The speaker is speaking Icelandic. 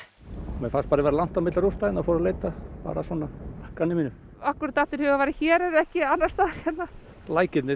mér fannst bara vera langt á milli rústa hérna og fór að leita bara svona að gamni mínu af hverju datt þér í hug að þetta væri hér en ekki annars staðar